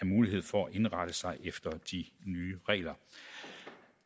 mulighed for at indrette sig efter de nye regler